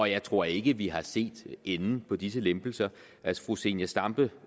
jeg tror ikke vi har set enden på disse lempelser fru zenia stampe